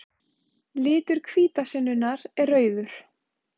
Litur hvítasunnunnar er rauður.